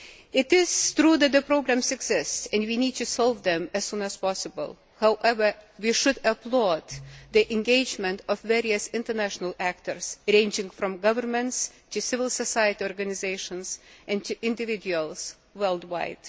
It is true that these problems exist and we need to solve them as soon as possible. However, we should applaud the engagement of various international actors, ranging from governments to civil society organisations and to individuals worldwide.